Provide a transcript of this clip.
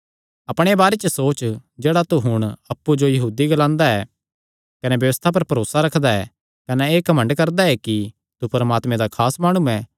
अपणे बारे च सोच जेह्ड़ा तू हुण अप्पु जो यहूदी ग्लांदा ऐ कने व्यबस्था पर भरोसा रखदा ऐ कने एह़ घमंड करदा ऐ कि तू परमात्मे दा खास माणु ऐ